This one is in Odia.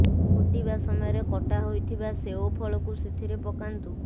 ଫୁଟିବା ସମୟରେ କଟା ହୋଇଥିବା ସେଓ ଫଳକୁ ସେଥିରେ ପକାନ୍ତୁ